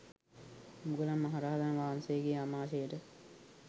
මුගලන් මහ රහතන් වහන්සේගේ ආමාශයට